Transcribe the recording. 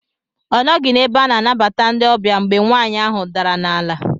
Ọ nọghị n'ebe ana anabata ndị ọbịa mgbe nwaanyị ahụ dara n'ala.